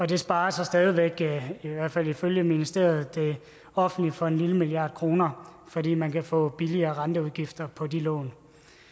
det sparer så stadig væk i hvert fald ifølge ministeriet det offentlige for en lille milliard kroner fordi man kan få lavere renteudgifter på de lån